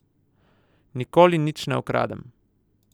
Nikoli nič ne ukradem.